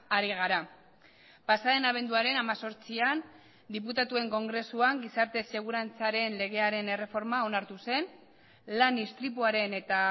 ari gara pasa den abenduaren hemezortzian diputatuen kongresuan gizarte segurantzaren legearen erreforma onartu zen lan istripuaren eta